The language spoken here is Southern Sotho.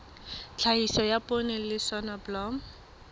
tlhahiso ya poone le soneblomo